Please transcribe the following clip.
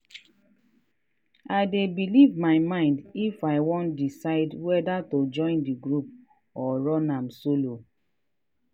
i dey belive my mind if i wan decide weda to join the group or run am solo.